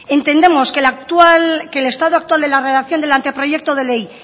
entendemos que el estado actual de la redacción del anteproyecto de ley